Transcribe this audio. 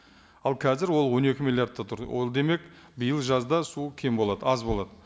ал қазір ол он екі миллиардта тұр ол демек биыл жазда су кем болады аз болады